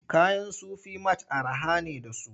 Kayan Sufi mat araha ne da su.